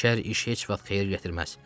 Şər iş heç vaxt xeyir gətirməz.